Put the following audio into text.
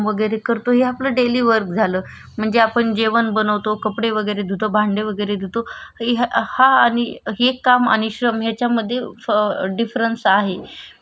हि एक काम आणि श्रम याचामधी फ डिफरंस आहे म्हणजे श्रम करण्या मागचा कारण म्हणजे श्रम करतांना आपण त्याचा मागे काही तरी गोल गोल म्हणजे ध्येय ठेवलेलं असत कि म्हणजे हे मी